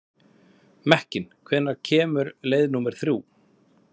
Mekkin, hvenær kemur leið númer þrjú?